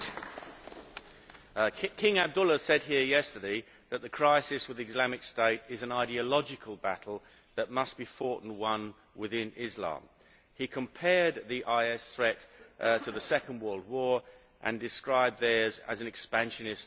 Madam President, King Abdullah said here yesterday that the crisis with Islamic State is an ideological battle that must be fought and won within Islam. He compared the IS threat to the Second World War, and described theirs as an expansionist ideology.